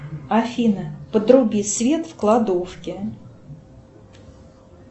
афина подруби свет в кладовке